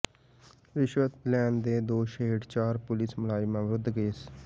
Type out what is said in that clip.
ਰਿਸ਼ਵਤ ਲੈਣ ਦੇ ਦੋਸ਼ ਹੇਠ ਚਾਰ ਪੁਲੀਸ ਮੁਲਾਜ਼ਮਾਂ ਵਿਰੁੱਧ ਕੇਸ